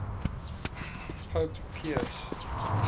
pope pius